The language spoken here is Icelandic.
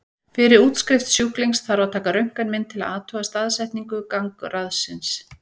Fyrir útskrift sjúklings þarf að taka röntgenmynd til að athuga staðsetningu gangráðsins.